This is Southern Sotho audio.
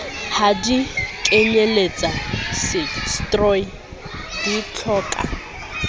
ha di kenyeletse setroi ditlhoka